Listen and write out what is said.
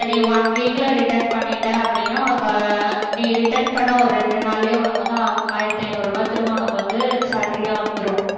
அத நீ one week ல return பண்ணிட்ட அப்படின்னா உனக்கு நீ return பண்ண ஒரு ரெண்டு நாளிலே உனக்கு வந்து ஆ~ ஆயிரத்தி ஐநூறுரூபாய் திரும்ப உனக்கு வந்து salary யா வந்துரும்